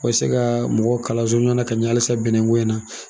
Bɛ se ka mɔgɔw kalanso ɲɔgɔn na ka ɲɛ halisa bɛnɛko in na